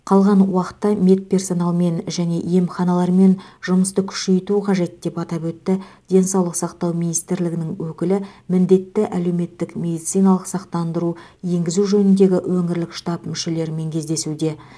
қалған уақытта медперсоналмен және емханалармен жұмысты күшейту қажет деп атап өтті денсаулық сақтау министрлігінің өкілі міндетті әлеуметтік медициналық сақтандыру енгізу жөніндегі өңірлік штаб мүшелерімен кездесуде